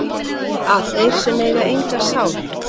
að þeir sem eiga enga sál